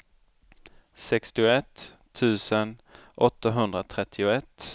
sextioett tusen åttahundratrettioett